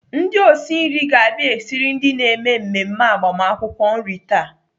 Ndị osi nri ga-abia esiri ndị na-eme mmemme agbamakwụkwọ nri taa.